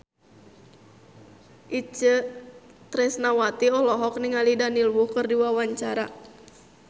Itje Tresnawati olohok ningali Daniel Wu keur diwawancara